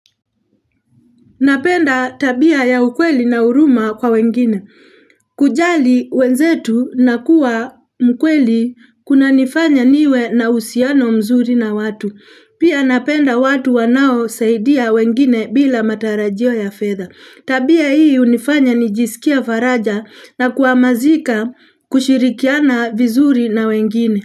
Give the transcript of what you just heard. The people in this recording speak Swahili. Napenda tabia ya ukweli na uruma kwa wengine. Kujali wenzetu na kuwa mkweli kunanifanya niwe na uhusiano mzuri na watu. Pia napenda watu wanao saidia wengine bila matarajio ya fedha. Tabia hii hunifanya nijisikie faraja na kuhamazika kushirikiana vizuri na wengine.